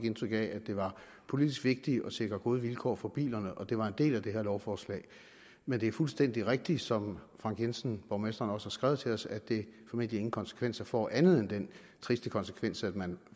indtryk af at det var politisk vigtigt at sikre gode vilkår for bilerne og at det var en del af det her lovforslag men det er fuldstændig rigtigt som frank jensen borgmesteren også har skrevet til os at det formentlig ingen konsekvenser får andet end den triste konsekvens at man